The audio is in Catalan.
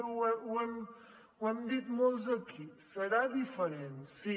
ja ho hem dit molts aquí serà diferent sí